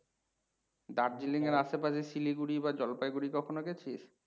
Darjeeling এর আশেপাশে শিলিগুড়ি বা জলপাইগুড়ি কখনো গেছিস?